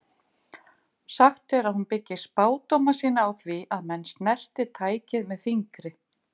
Sagt er að hún byggi spádóma sína á því að menn snerti tækið með fingri.